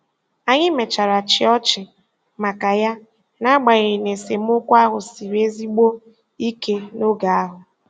Anyị mechara chịa ọchị maka ya, n’agbanyeghị na esemokwu ahụ siri ezigbo ike n’oge ahụ.